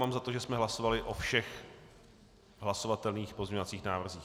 Mám za to, že jsme hlasovali o všech hlasovatelných pozměňovacích návrzích.